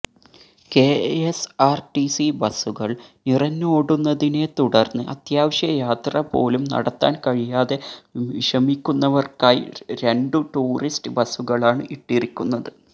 KSRTC ബസുകൾ നിറഞ്ഞോടുന്നതിനെ തുടർന്ന് അത്യാവശ്യയാത്ര പോലും നടത്താൻ കഴിയാതെ വിഷമിക്കുന്നവർക്കായി രണ്ടു ടൂറിസ്റ്റ് ബസുകളാണ് ഇട്ടിരിക്കുന്നത്